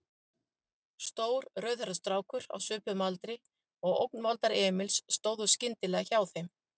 Stór, rauðhærður strákur á svipuðum aldri og ógnvaldar Emils stóð skyndilega hjá þeim.